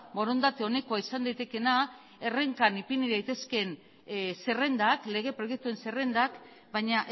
borondate onekoa izan daitekeena errenkan ipini daitezke zerrendak lege proiektuen zerrendak baina